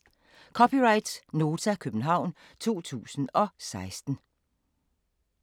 (c) Nota, København 2016